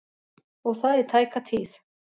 Og það í tæka tíð.